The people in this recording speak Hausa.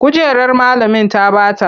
Kujerar malamin ta bata.